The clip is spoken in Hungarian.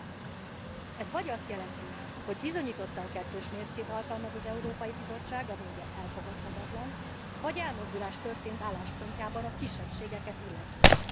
Ez vagy azt jelenti, hogy bizonyítottan kettős mércét alkalmaz az Európai Bizottság ami, ugye, elfogadhatatlan vagy elmozdulás történt álláspontjában a kisebbségeket illetően.